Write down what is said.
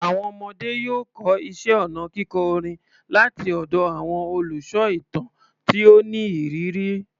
Àwọn ọmọdé yóò kọ́ iṣẹ́ ọnà kíkọ orin láti ọ̀dọ̀ àwọn olùsọ ìtàn tí ó ní ìrírí.